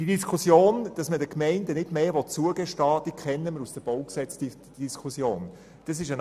Die Diskussion, wonach man den Gemeinden nicht mehr zugestehen will, kennen wir aus der Diskussion rund um das Baugesetz (BauG).